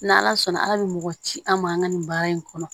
N' ala sɔnna ala bɛ mɔgɔ ci an ma an ka nin baara in kɔnɔ